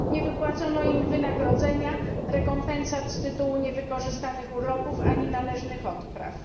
Nie wypłacono im wynagrodzenia, rekompensat z tytułu niewykorzystanych urlopów ani należnych odpraw.